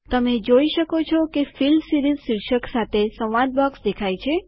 તમે જોઈ શકો છો કે ફિલ સીરીઝ શીર્ષક સાથે સંવાદ બોક્સ દેખાય છે